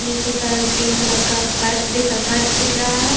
नीचे का green colour का पर्स दिखा फर्श दिख रहा है।